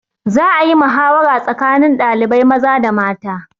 Za a yi mahawara tsakanin ɗalibai maza da mata.